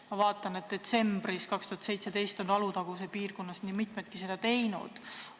Ma vaatan, et detsembris 2017 on Alutaguse piirkonnas nii mitmedki seda teinud.